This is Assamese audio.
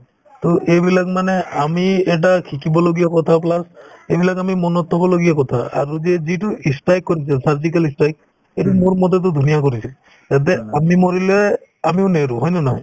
to এইবিলাক মানে আমি এটা শিকিবলগীয়া কথা plus এইবিলাক আমি মনত থবলগীয়া কথা আৰু যে যিটো ই strike কৰিছিল surgical ই strike সেইটো মোৰমতেতো ধুনীয়া কৰিছে যাতে আমি মৰিলে আমিও নেৰো হয় নে নহয়